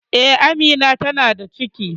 Eh, Amina ta na da ciki